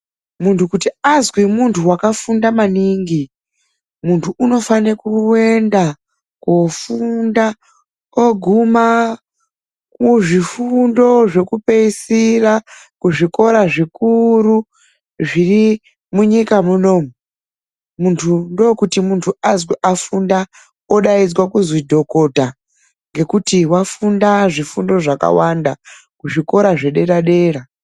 Muntu kuti azwi muntu wakafunda maningi, muntu anofane kuenda koofunda oguma kuzvifundo zvokupeisira, kuzvikora zvikuru zviri munyika munomu. Muntu ndookuti mundu azwi afunda,;odaidzwa kuźwi dhokota, ngekuti wafunda zvifundo zvakawanda kuzvikora zvederadera.